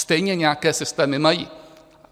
Stejně nějaké systémy mají.